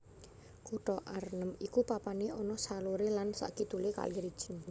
Kutha Arnhem iku papané ana saloré lan sakidulé kali Rijn